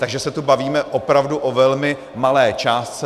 Takže se tu bavíme opravdu o velmi malé částce.